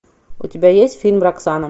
у тебя есть фильм роксана